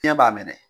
Fiɲɛ b'a minɛ